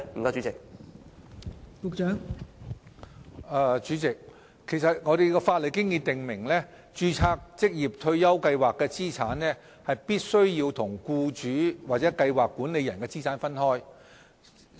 代理主席，法例已訂明註冊計劃的資產必須與僱主或計劃管理人的資產分開。